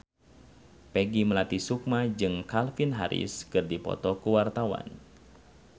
Peggy Melati Sukma jeung Calvin Harris keur dipoto ku wartawan